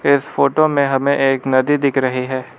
इस फोटो में हमें एक नदी दिख रही है।